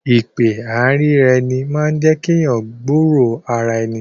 Ìpè àìríraeni máa ń jẹ́kí èèyàn gbúro ara ẹni